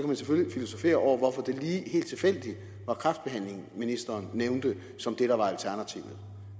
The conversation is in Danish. man selvfølgelig filosofere over hvorfor det lige helt tilfældigt var kræftbehandlingen ministeren nævnte som det der var alternativet